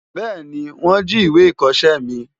Bẹ́ẹ̀ni wọ́n jí ìwé ìkọṣẹ́ mi.